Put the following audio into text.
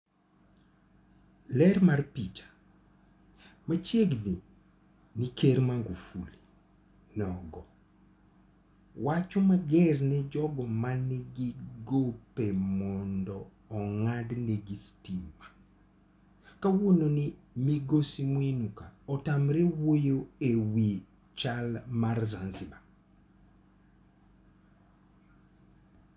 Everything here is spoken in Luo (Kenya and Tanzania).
Ler mar picha. Machiegni ni Ker Magufuli nogo wach mager ne jogo manigi gope mondo ong'adnegi sitima. Kawuono ni migosi Mwinuka otamore wuoyo e wi chal mar Zanzibar.